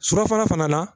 Surafana fana na